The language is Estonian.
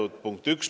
See oli punkt 1.